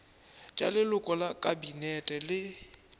tša leloko la kabinete le